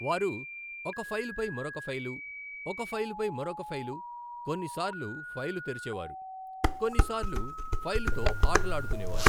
వారు ఒక ఫైలుపై, మరొక ఫైలు, ఒక ఫైలుపై మరొక ఫైలు, కొన్నిసార్లు ఫైలు తెరిచేవారు, కొన్నిసార్లు ఫైలుతో ఆటలాడుకొనేవారు.